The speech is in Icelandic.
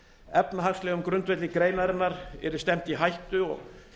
efnahagslegum grundvelli greinarinnar yrði stefnt í hættu og